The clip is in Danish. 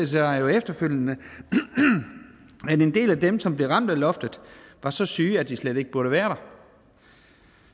sig jo efterfølgende at en del af dem som bliver ramt af loftet er så syge at de slet ikke burde være der